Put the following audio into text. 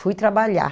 Fui trabalhar.